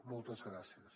moltes gràcies